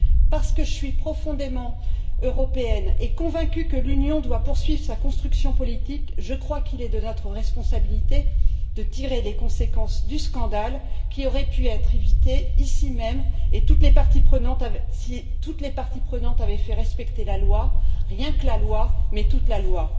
Parce que je suis profondément européenne et convaincue que l'Union doit poursuivre sa construction politique, je crois qu'il est de notre responsabilité de tirer les conséquences du scandale qui aurait pu être évité ici même si toutes les parties prenantes avaient fait respecter la loi, rien que la loi, mais toute la loi.